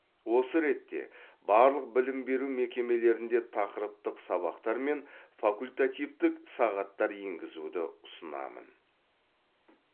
осы ретте барлық білім беру мекемелерінде тақырыптық сабақтар мен факультативтік сағаттар енгізуді ұсынамын